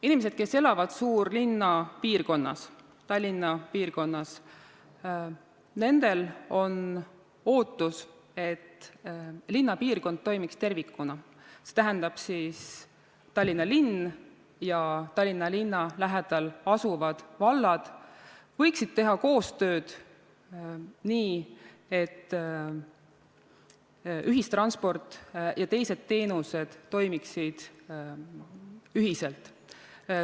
Inimesed, kes elavad suurlinna piirkonnas, Tallinna piirkonnas, nendel on ootus, et linnapiirkond toimiks tervikuna, see tähendab, et Tallinn ja Tallinna lähedal asuvad vallad võiksid teha koostööd, nii et ühistransport ja teised teenused toimiksid ühiselt.